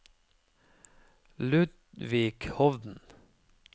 Ludvig Hovden